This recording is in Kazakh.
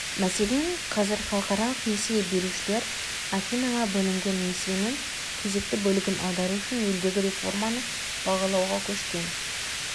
мәселен қазір халықаралық несие берушілер афинаға бөлінген несиенің кезекті бөлігін аудару үшін елдегі реформаны бағалауға көшкен